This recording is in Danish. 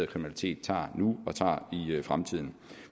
kriminalitet tager nu og tager i fremtiden